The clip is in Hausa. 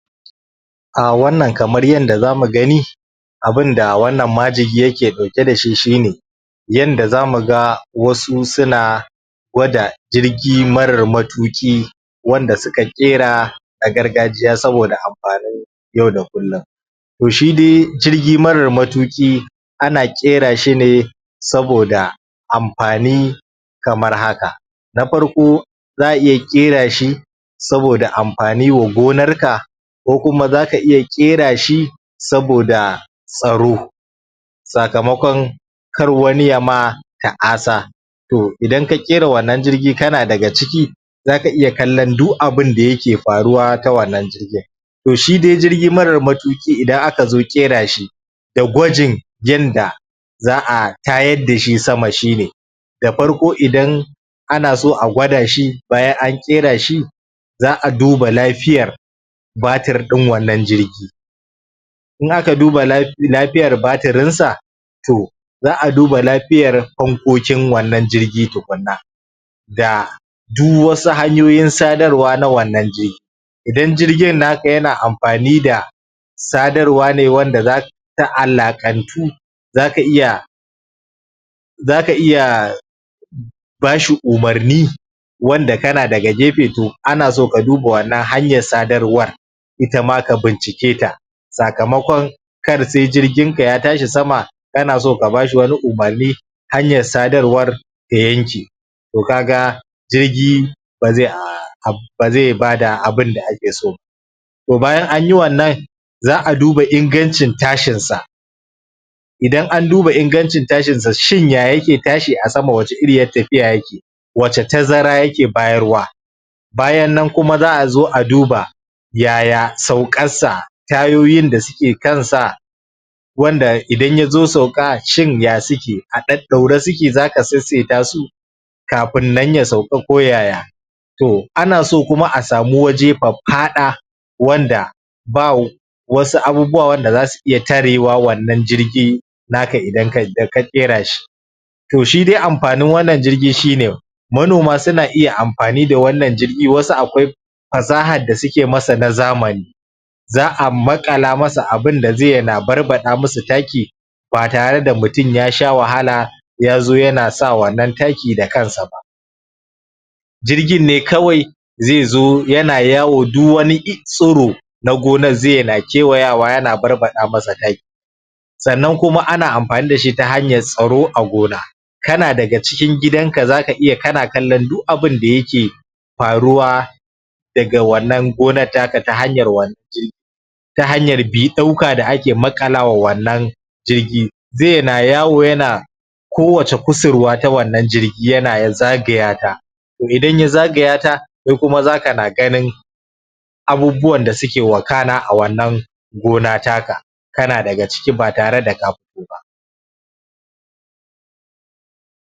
A wannan kamar yadda za mu gani abin da wannan majigi yake dauke da shi, shi ne yanda za mu ga wasu suna gwada jirgi marar matuƙi wanda suka ƙera a gargajiya saboda amfanin yau da kullum to shi dai jirgi marar matuƙi ana ƙera shi ne saboda amfani kamar haka na farko za a iya ƙera shi saboda amfani wa gonarka ko kuma zaka iya ƙera shi saboda tsaro sakamakon kar wani ya ma ta'asa to idan ka ƙera wannan jirkgi kana daga ciki za ka iya kallon duk abin da yake faruwa ta wannan jirgin to shi dai jirgi marar matuƙi idan aka zo ƙera shi da gwajin yanda za a tayar da shi sama shi da farko idan ana so a gwada shi bayan an ƙera shi za a duba lafiyar batir din wannan jirgi in aka duba lafiyar batirinsa to za a duba lafiyar fankokin wannnan jirgi tukuna da duk wasu hanyoyin sadarwa na wannan jirgi idan jirgin naka yana amfani da sadarwa ne wanda ta alaƙantu zaka iya zaka iya.... ba shi umarni wanda kana daga gefe to ana so ka duba wannnan hanyar sadarwar ita ma ka bincike ta sakamakon kar sai jirginka ya tashi sama kana so ka ba shi wani umarni hanyar sadarwar ta yanke to ka ga jirgi zai aaa am.... ba zai bada abinn da ake so ba to bayan an yi wannan za a duba ingancin tashin sa idan an duba ingancin tashin sa shin ya yake tashi a sama shin wace iriyar tafiya yake wace tazara yake bayarwa bayan nan kuma za a zo a duba yaya sauƙar sa tayoyin da suke kansa wanda idan ya zo sauƙa shin ya suke a ɗaɗɗaure suke zaka saisaita su kafin nan ya sauƙa ko yaya to ana so kuma a samu waje faffaɗa wanda babu wasu abubuwa wanda za su iya tarewa wannan jirgi naka da ka ƙera shi to shi dai amfanin wannan jirgi shi ne manoma suna iya amfani da wannnan jirgi wasu akwai fasahar da suke masa na zamani za a maƙala masa abin da zai na barbaɗa musu taki ba tare da mutum ya sha wahala ya zo yana sa wannan taki da kansa ba jirgin ne kawai zai zo yana yawo duk wani tsiro na gonar zai na kewaya yana barbaɗa musu taki sannan kuma amfani da shi ta hanyar tsaro a gona kana daga cikin gidanka zaka iya kana kallon duk abin da yake faruwa daga wannan gonar taka ta hanyar wannan jirgi ta hanyar bi-ɗauka da ake maƙalawa wannan jirgi zai na yawo yana kowace kusurwa ta wannan gona yana zagaya ta to idan ya zagaya ta kai kuma za kana ganin abubuwan da suke wakana a wannnan gona taka kana daga ciki ba tare da ka fito ba.